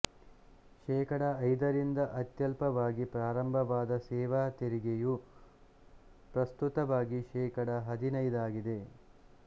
ಶೇಕಡ ಐದರಿಂದ ಅತ್ಯಲ್ಪವಾಗಿ ಪ್ರಾರಂಭವಾದ ಸೇವಾ ತೆರಿಗೆಯು ಪ್ರಸ್ತುತವಾಗಿ ಶೇಕಡ ಹದಿನೈದಾಗಿದೆ